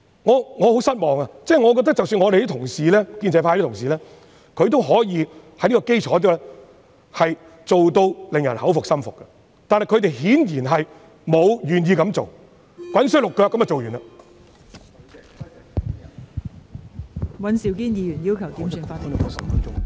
我感到十分失望，我認為即使是建制派的同事，也可以在這件事上做到令人心服口服，但他們顯然不願意這樣做，只是急忙地完成處理《條例草案》。